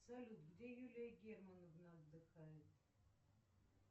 салют где юлия германовна отдыхает